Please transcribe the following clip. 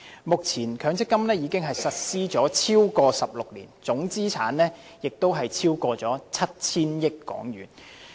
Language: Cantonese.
目前強積金已實施超過16年，總資產值已超過 7,000 億港元。